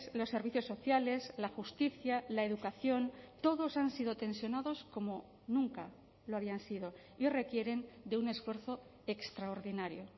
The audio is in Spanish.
los servicios sociales la justicia la educación todos han sido tensionados como nunca lo habían sido y requieren de un esfuerzo extraordinario